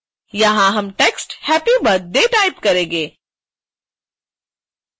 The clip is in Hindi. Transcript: यहाँ हम टेक्स्ट happy birthday टाइप करेंगें